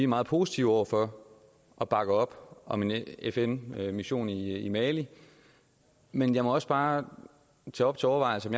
meget positive over for og bakker op om en fn mission i mali men jeg må også bare tage op til overvejelse